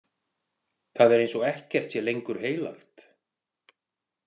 Það er eins og ekkert sé lengur heilagt.